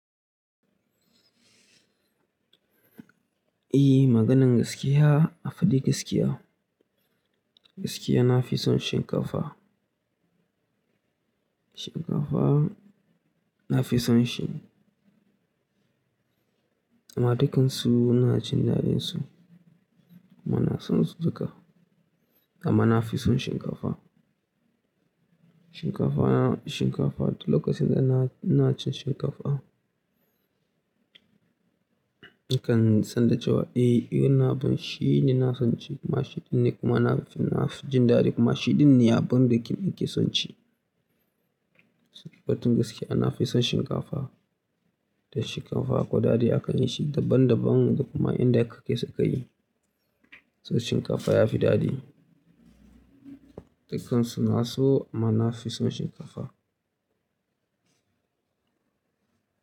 Eh, maganin gaskiya, a faɗi gaskiya. Gaskiya na fi son shinkafa. Shinkafa na fi son shi. Amma dukansu inajin daɗinsu. Amma na son su duka. Amma na fi son shinkafa. Shinkafa, shinkafa duk lokacin da na, ina cin shinkafa. Nakan san da cewa eh, wannan abun, shi ne ina son ci. Kuma shi ɗin ne kuma na, nafi jin daɗi kuma shi ɗin ne abunda nake son ci. Batun gaskiya na fi son shinkafa. Da shinkafa akwai daɗi akan yi shi daban daban kuma inda aka kai suka yi. Saboda shinkafa ya fi daɗi. Dukansu inaso amma na fi son shinkafa.